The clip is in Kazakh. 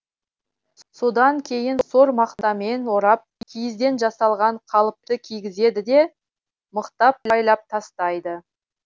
содан кейін сор мақтамен орап киізден жасалған қалыпты кигізеді де мықтап байлап тастайды